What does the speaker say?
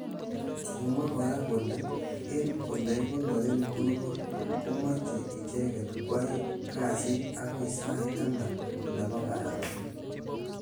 Kimwa kora kole eng olekikonore borwek komeche icheket kwai. kasit akoi sai taman nebo. karon.